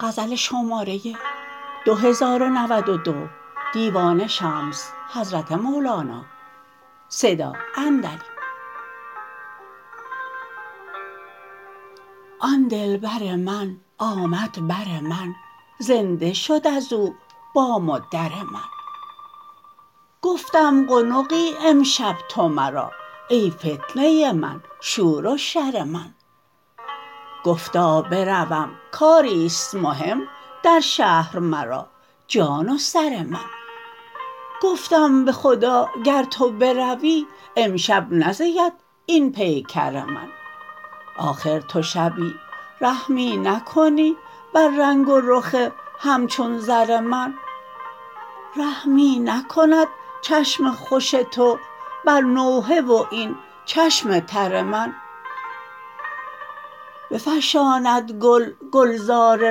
آن دلبر من آمد بر من زنده شد از او بام و در من گفتم قنقی امشب تو مرا ای فتنه من شور و شر من گفتا بروم کاری است مهم در شهر مرا جان و سر من گفتم به خدا گر تو بروی امشب نزید این پیکر من آخر تو شبی رحمی نکنی بر رنگ و رخ همچون زر من رحمی نکند چشم خوش تو بر نوحه و این چشم تر من بفشاند گل گلزار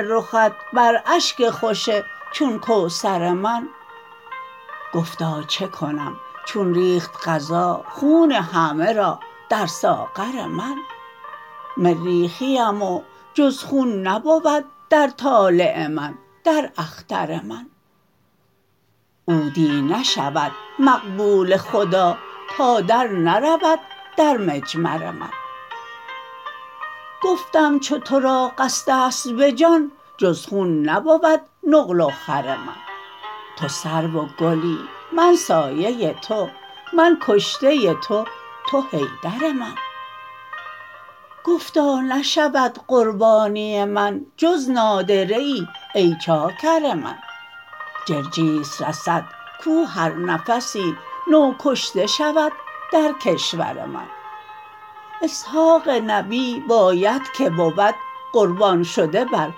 رخت بر اشک خوش چون کوثر من گفتا چه کنم چون ریخت قضا خون همه را در ساغر من مریخیم و جز خون نبود در طالع من در اختر من عودی نشود مقبول خدا تا درنرود در مجمر من گفتم چو تو را قصد است به جان جز خون نبود نقل و خور من تو سرو و گلی من سایه تو من کشته تو تو حیدر من گفتا نشود قربانی من جز نادره ای ای چاکر من جرجیس رسد کو هر نفسی نو کشته شود در کشور من اسحاق نبی باید که بود قربان شده بر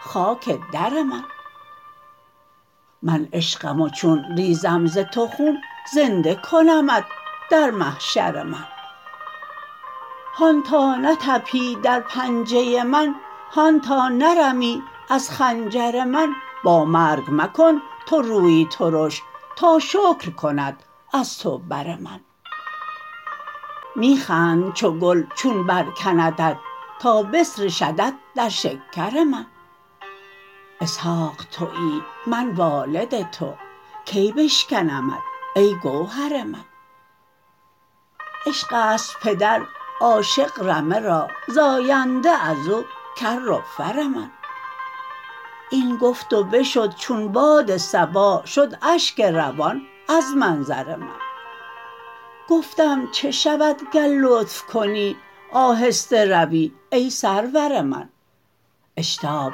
خاک در من من عشقم و چون ریزم ز تو خون زنده کنمت در محشر من هان تا نطپی در پنجه من هان تا نرمی از خنجر من با مرگ مکن تو روی ترش تا شکر کند از تو بر من می خند چو گل چون برکندت تا بسر شدت در شکر من اسحاق توی من والد تو کی بشکنمت ای گوهر من عشق است پدر عاشق رمه را زاینده از او کر و فر من این گفت و بشد چون باد صبا شد اشک روان از منظر من گفتم چه شود گر لطف کنی آهسته روی ای سرور من اشتاب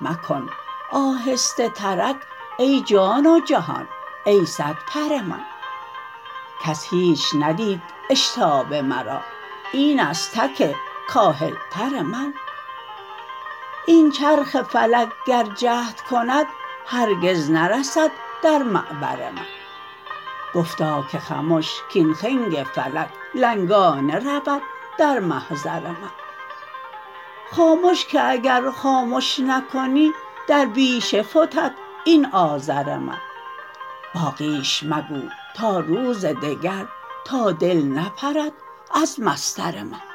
مکن آهسته ترک ای جان و جهان ای صدپر من کس هیچ ندید اشتاب مرا این است تک کاهلتر من این چرخ فلک گر جهد کند هرگز نرسد در معبر من گفتا که خمش کاین خنگ فلک لنگانه رود در محضر من خامش که اگر خامش نکنی در بیشه فتد این آذر من باقیش مگو تا روز دگر تا دل نپرد از مصدر من